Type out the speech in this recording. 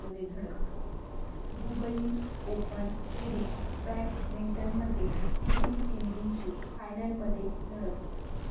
Dubai Open Series बॅटमिंटनमध्ये PV सिंधूची फायनलमध्ये धडक